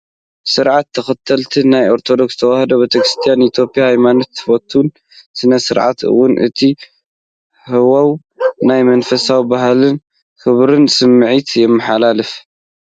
ስርዓተ ተክሊል ናይ ኦርቶዶክስ ተዋህዶ ቤተክርስትያን ኢትዮጵያ ሃይማኖታዊ ትውፊትን ስነ ስርዓትን እዩ። እቲ ሃዋህው ናይ መንፈሳውነትን ባህልን ክብርን ስምዒት የመሓላልፍ።